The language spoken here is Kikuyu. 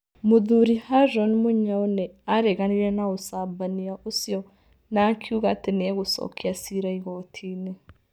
Mũthuri Haroon Mũnyaũ nĩ aareganire na ũcambania ũcio na akiuga atĩ nĩ egũcokia ciira igooti-inĩ.